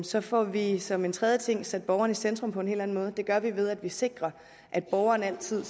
så får vi vi som en tredje ting sat borgeren i centrum på en hel anden måde det gør vi ved at vi sikrer at borgeren altid